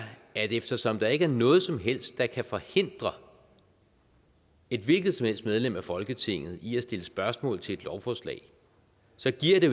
at eftersom der ikke er noget som helst der kan forhindre et hvilket som helst medlem af folketinget i at stille spørgsmål til et lovforslag så giver det